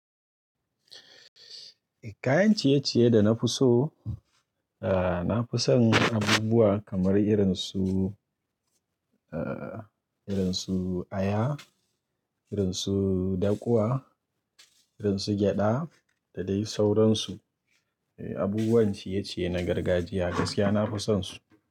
Kayan ciye-ciye da na fi so, na fi son abubuwa kamar irin su, irin su aya, irin su dakuwa, irin su gyada da dai sauransu. Eh abubuwan ciye-ciye na gargajiya gaskiya na fi son su.